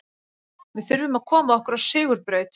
Við þurfum að koma okkur á sigurbraut.